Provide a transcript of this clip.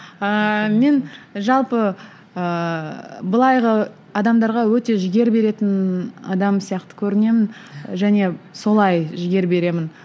ыыы мен жалпы ыыы былайғы адамдарға өте жігер беретін адам сияқты көрінемін және солай жігер беремін